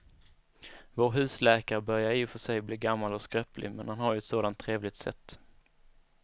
Vår husläkare börjar i och för sig bli gammal och skröplig, men han har ju ett sådant trevligt sätt!